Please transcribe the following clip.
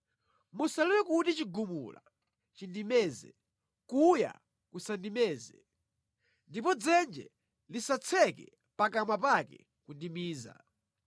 Musalole kuti chigumula chindimeze, kuya kusandimeze ndipo dzenje lisatseke pakamwa pake kundimiza.